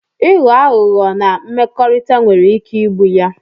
Ịghọ aghụghọ na mmekọrịta nwere ike igbu ya